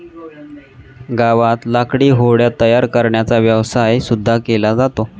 गावात लाकडी होड्या तयार करण्याचा व्यवसाय सुद्धा केला जातो.